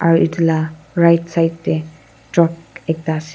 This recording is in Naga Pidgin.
aru etu lah right side teh truck ekta ase.